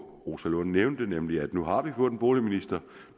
rosa lund nævnte nemlig at vi nu har fået en boligminister